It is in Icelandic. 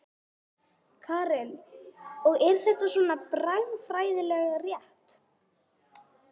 Karen: Og er þetta svona bragfræðilega rétt?